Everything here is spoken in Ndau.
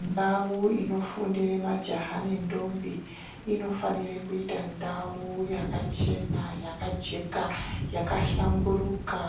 Ndau inofundire majaha nendombi inofanire kuita ndau yakachena yakajeka yakahlamburika.